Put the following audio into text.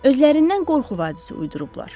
Özlərindən qorxu vadisi uydurublar.